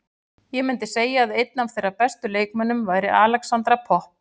Ég myndi segja að einn af þeirra bestu leikmönnum væri Alexandra Popp.